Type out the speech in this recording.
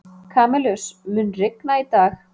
Kamilus, mun rigna í dag?